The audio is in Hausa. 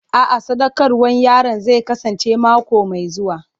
A'a, sadaukarwar yaron zai kasance mako mai zuwa.